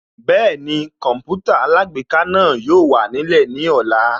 Bẹ́ẹ̀ni Kọǹpútà alágbèéká náà yóò wà nílẹ̀ ní ọ̀la